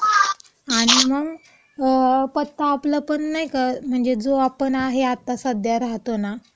आणि मंग, पत्ता आपला नाही का, आपला जो आहे, तो सध्या राहतो ना,